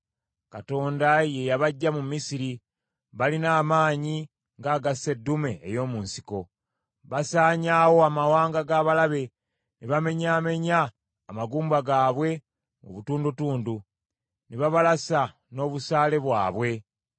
“Katonda ye yabaggya mu Misiri balina amaanyi nga aga sseddume ey’omu nsiko. Basaanyaawo amawanga g’abalabe ne bamenyaamenya amagumba gaabwe mu butundutundu, ne babalasa n’obusaale bwabwe.